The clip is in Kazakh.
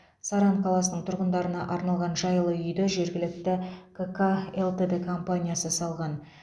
саран қаласының тұғындарына арналған жайлы үйді жергілікті к ка лтд компаниясы салған